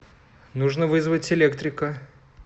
нужно вызвать электрика